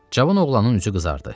Cavan oğlanın üzü qızardı.